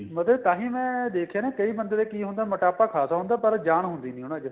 ਮੈਂ ਕਿਹਾ ਤੈ ਮੈਂ ਦੇਖਿਆ ਨਾ ਕਈ ਬੰਦੇ ਦੇ ਕੀ ਹੁੰਦਾ ਮੁਟਾਪਾ ਖਾਸਾ ਹੁੰਦਾ ਪਰ ਜਾਨ ਹੁੰਦੀ ਨੀਂ ਉਹਨਾ ਚ